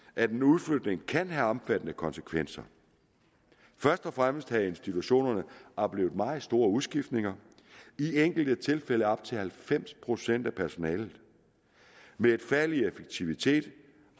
at en udflytning kan have omfattende konsekvenser først og fremmest havde institutionerne oplevet meget store udskiftninger i enkelte tilfælde på op til halvfems procent af personalet med et fald i effektivitet